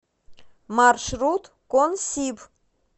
маршрут консиб